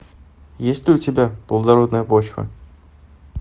есть ли у тебя плодородная почва